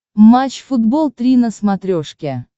матч футбол три на смотрешке